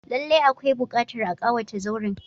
Lallai akwai buƙatar a kawata zauren.